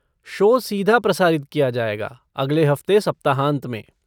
Show सीधा प्रसारित किया जाएगा अगले हफ़्ते सप्ताहांत में।